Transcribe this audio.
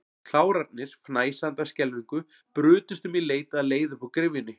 Klárarnir, fnæsandi af skelfingu, brutust um í leit að leið upp úr gryfjunni.